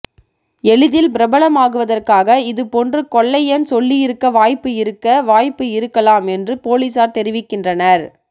எளிதில் பிரபலமாகுவதற்காக இது போன்று கொள்ளையன் சொல்லியிருக்க வாய்ப்பு இருக்க வாய்ப்பு இருக்கலாம் என்று பொலிசார் தெரிவிக்கின்றனர்